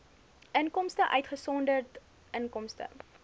inkomste uitgesonderd inkomste